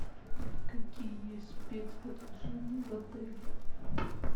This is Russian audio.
какие есть спец предложения в отеле